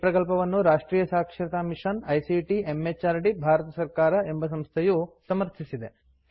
ಈ ಪ್ರಕಲ್ಪವನ್ನು ರಾಷ್ಟ್ರಿಯ ಸಾಕ್ಷರತಾ ಮಿಷನ್ ಐಸಿಟಿ ಎಂಎಚಆರ್ಡಿ ಭಾರತ ಸರ್ಕಾರ ಎಂಬ ಸಂಸ್ಥೆಯು ಸಮರ್ಥಿಸಿದೆ